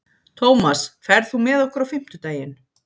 Tómas, ferð þú með okkur á fimmtudaginn?